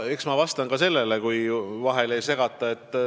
Eks ma vastan ka sellele, kui vahele ei segata.